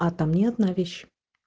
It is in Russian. а там не одна вещь